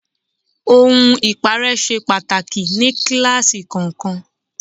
Ohun ipare ṣe pàtàkì ní kíláàsì kọ̀ọ̀kan.